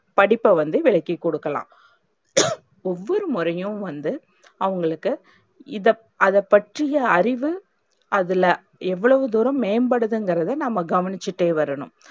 படிப்ப வந்து விளக்கிக்கொடுக்கலாம். ஒவ்வொரு முறையும் வந்து அவங்களுக்கு இத அதைப்பற்றிய அறிவு அதுல எவ்வளவு தூரம் மேம்படுதுன்றத நாம்ம கவனிச்சுட்டே வரணும்.